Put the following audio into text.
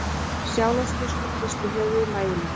Sjálandsbiskup hristi höfuðið mæðulega.